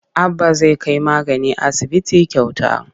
Abba zai kai magani asibiti kyauta.